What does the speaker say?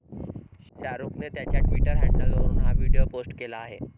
शाहरुखने त्याच्या ट्वीटर हँडलवरून हा व्हिडीओ पोस्ट केला आहे.